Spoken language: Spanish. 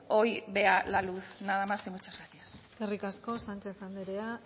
hoy vea la luz nada más y muchas gracias eskerrik asko sánchez andrea